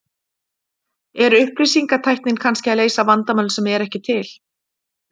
Er upplýsingatæknin kannski að leysa vandamál sem er ekki til?